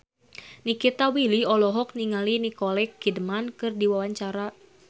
Nikita Willy olohok ningali Nicole Kidman keur diwawancara